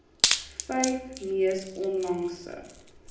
vyf mees onlangse